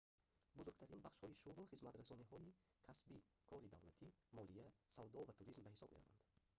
бузургтарин бахшҳои шуғл хизматрасониҳоии касбӣ кори давлатӣ молия савдо ва туризм ба ҳисоб мераванд